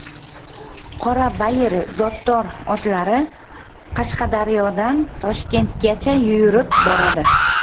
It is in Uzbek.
Qorabayir zotdor otlari Qashqadaryodan Toshkentgacha yurib boradi.